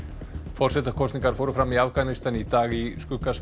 forsetakosningar fóru fram í Afganistan í dag í skugga